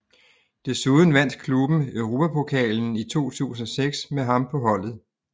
Desuden vandt klubben Europapokalen i 2006 med ham på holdet